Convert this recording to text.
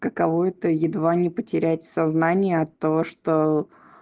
каково это едва не потерять сознание от того что